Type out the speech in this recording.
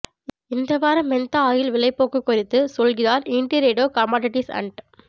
இந்த வாரம் mentha oil விலைப்போக்கு குறித்து சொல்கிறார் இன்டிட்ரேடு கமாடிட்டீஸ் அண்ட்